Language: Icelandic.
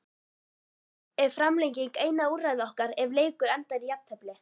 Er framlenging eina úrræði okkar ef leikur endar í jafntefli?